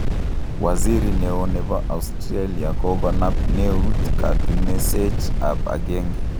Waziri neo nepo Australia kokonap neut katunisech ap agenge